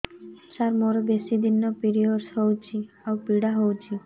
ସାର ମୋର ବେଶୀ ଦିନ ପିରୀଅଡ଼ସ ହଉଚି ଆଉ ପୀଡା ହଉଚି